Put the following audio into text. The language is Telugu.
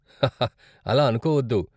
హహ, అలా అనుకోవద్దు.